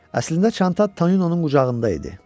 Əslində çanta Toninonun qucağında idi.